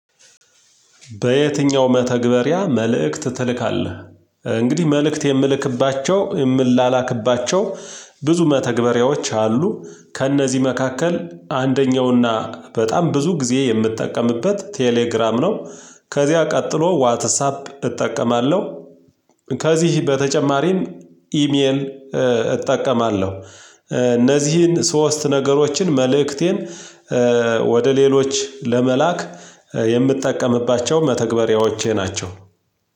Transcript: በየትኛው መተግበሪያ መልእክት ትልካለህ? እንግዲህ መልእክት የምልክባቸው የምንላክባቸው ብዙ መተግበሪያዎች አሉ፤ ከእነዚህ መካከል አንደኛውና በጣም ብዙ ጊዜ የምጠቀምበት ቴሌግራም ነው፤ ከዚያ ቀጥሎ ዋትሳፕ እጠቀማለሁ፤ ከዚህ በተጨማሪም ኢሜል እጠቀማለሁ። እነዚህን ሶስት ነገሮችን መልእክቴን ወደ ሌሎች ለመላክ የምንጠቀምባቸው መተግበሪያዎቼ ናቸው።